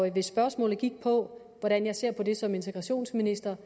hvis spørgsmålet gik på hvordan jeg ser på det som integrationsminister